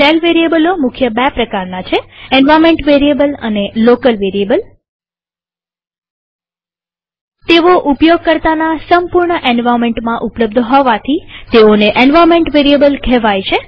shell વેરીએબલો મુખ્ય બે પ્રકારના છે અંદ એન્વાર્નમેન્ટ વેરીએબલ અને લોકલ વેરીએબલ તેઓ ઉપયોગકર્તાના સંપૂર્ણ એન્વાર્નમેન્ટમાં ઉપલબ્ધ હોવાથી તેને એન્વાર્નમેન્ટ વેરીએબલ કહેવાય છે